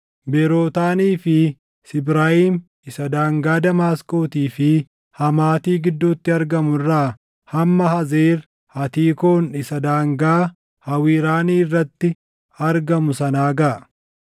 Beerootaanii fi Sibraayim isa daangaa Damaasqootii fi Hamaatii gidduutti argamu irraa hamma Hazeer Hatiikoon isa daangaa Hawiraanii irratti argamu sanaa gaʼa.